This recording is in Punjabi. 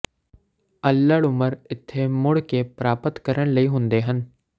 ਅੱਲ੍ਹੜ ਉਮਰ ਇੱਥੇ ਮੁੜ ਕੇ ਪ੍ਰਾਪਤ ਕਰਨ ਲਈ ਹੁੰਦੇ ਹਨ